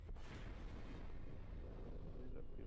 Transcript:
ਇਹਦੇ ਕਰਕੇ